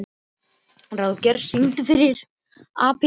Ráðgeir, syngdu fyrir mig „Apinn í búrinu“.